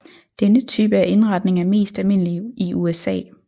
Denne type af indretning er mest almindelig i USA